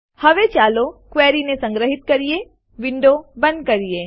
હવે ચાલો ક્વેરીને સંગ્રહિત કરીને વિન્ડો બંધ કરીએ